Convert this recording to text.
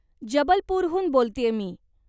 जबलपूरहून बोलतेय मी.